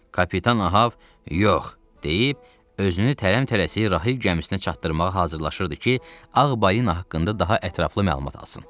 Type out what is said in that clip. Kapitan Ahab "Yox" deyib özünü tələm-tələsik Rahil gəmisinə çatdırmağa hazırlaşırdı ki, Ağ balina haqqında daha ətraflı məlumat alsın.